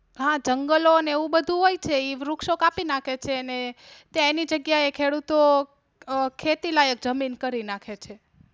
હા, જંગલો અને એવું બધું હોય છે ઈ વૃક્ષો કાપી નાખે છે ને એની જગ્યા એ ખેડૂતો ખેતી લાયક જમીન કરી નાખે છે.